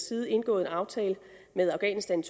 side indgået en aftale med afghanistan